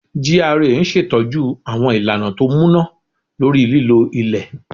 GRA n ṣetọju àwọn ìlànà ti o múná lórí lílo ilẹ